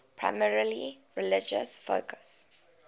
primarily religious focus